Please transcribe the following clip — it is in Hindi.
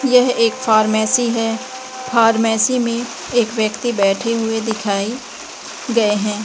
यह एक फार्मेसी है फार्मेसी में एक वयक्ति बैठे हुए दिखाई गए हैं।